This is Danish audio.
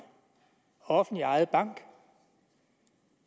offentligt ejet bank